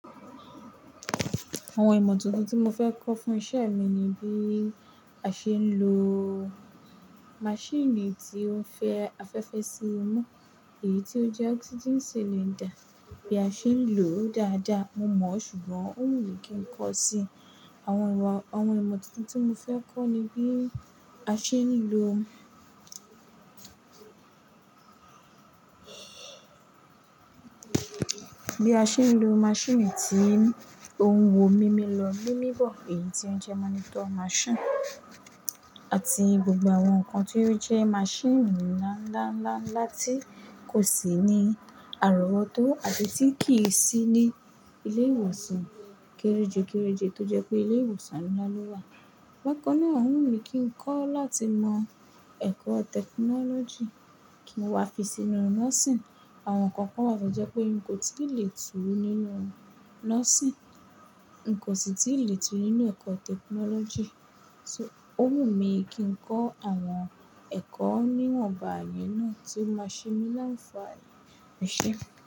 Àwọn ìmọ̀ tuntun tí mo fẹ́ kọ́ fún iṣẹ́ mi ni bí a ṣe ń lo maṣíìnì tí ó ń fẹ́ afẹ́fẹ́ sí imú, èyí tí ó jẹ́ oxygen cylinder, bí a ṣe ń lò ó dáadáa. Mo mọ̀, ṣùgbọ́n ó wù mí kí n kọ́ sí. Àwọn, àwọn ìmọ̀ tuntun tí mo fẹ́ kọ́ ni bí a ṣe ń lo bí a ṣe ń lo maṣíìnì tí ó ń wo mimi lọ, mimi bọ̀, èyí tí ó jẹ́ monitor machine àti gbogbo àwọn nǹkan tí ó jẹ́ maṣíìnì ńlá, ńlá, ńlá, ńlá tí kò sí ní àrọwọtó àbí tí kì í sí ní ilé ìwòsàn kéréje, kéréje tó jẹ́ pé ilé ìwòsàn ńlá ló wà. Bákan náà ó wù mí kí ń kọ̀ láti mọ ẹ̀kọ́ technology kí n wá fi sínú nursing. Àwọn nǹkan kan to jẹ́ pé n kò tí ì le tú nínú nursing, n kò sì tí ì le tú nínú ẹ̀kọ́ technology. So ó wù mí kí n kọ́ àwọn ẹ̀kọ́ ní wọ̀nbà yẹn náà tí ó máa ṣe mí láǹfààní ẹ ṣe.